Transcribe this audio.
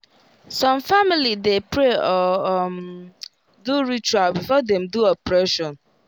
some family de pray or um do ritual before dem do operation